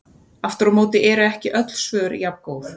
Aftur á móti eru ekki öll svör jafngóð.